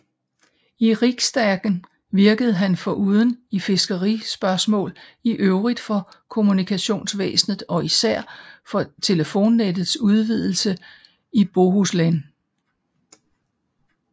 I riksdagen virkede han foruden i fiskerispørgsmål i øvrigt for kommunikationsvæsenet og især for telefonnettets udvidelse i Bohuslän